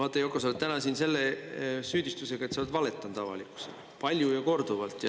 Vaata, Yoko, sa oled täna siin selle süüdistusega, et sa oled valetanud avalikkusele, palju ja korduvalt.